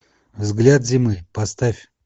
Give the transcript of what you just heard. взгляд зимы поставь